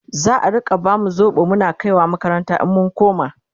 za'a Rika bamu sobo Muna kaiwa makaranta in mun koma?